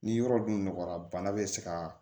Ni yɔrɔ dun nɔgɔyara bana bɛ se ka